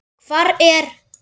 Hvar er